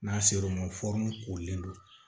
N'a ser'o ma kolen don